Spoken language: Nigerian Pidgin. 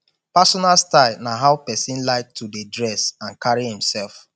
personal style na how pesin like to dey dress and carry imself